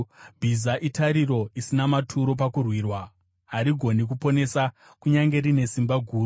Bhiza itariro isina maturo pakurwirwa; harigoni kuponesa kunyange rine simba guru.